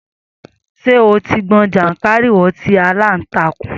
Sé o ti gbọn jàǹkàárìwọ̀ tí aláǹtàkùn.